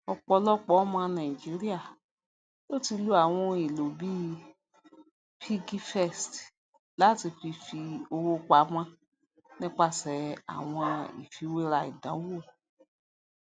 ọpọlọpọ ọmọ nàìjíríà ló ti lo àwọn ohun èlò bíi piggyvest láti fi fi owó pamọ nípasẹ àwọn ìfiwéra ìdánwò